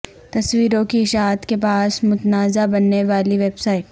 تصویروں کی اشاعت کے باعث متنازعہ بننے والی ویب سائٹ